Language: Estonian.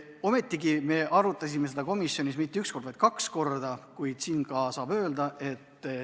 Ometigi me arutasime eelnõu komisjonis mitte üks kord, vaid kaks korda.